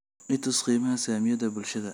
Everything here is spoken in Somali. i tus qiimaha saamiyada bulshada